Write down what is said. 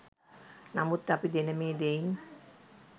නමුත් අපි දෙන මේ දෙයින්